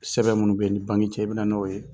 Sɛbɛn minnu bɛ ni banki cɛ i bɛna na n'o ye